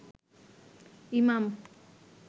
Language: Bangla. ইমাম